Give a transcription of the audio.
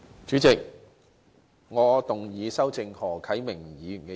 主席，我動議修正何啟明議員的議案。